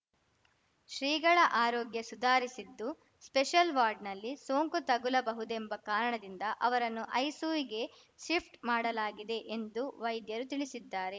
ಶ್ರೀಗಳ ಆರೋಗ್ಯ ಸುಧಾರಿಸಿದ್ದು ಸ್ಪೆಷಲ್‌ ವಾರ್ಡ್‌ನಲ್ಲಿ ಸೋಂಕು ತಗುಲಬಹುದೆಂಬ ಕಾರಣದಿಂದ ಅವರನ್ನು ಐಸಿಯುಗೆ ಶಿಫ್ಟ್‌ ಮಾಡಲಾಗಿದೆ ಎಂದು ವೈದ್ಯರು ತಿಳಿಸಿದ್ದಾರೆ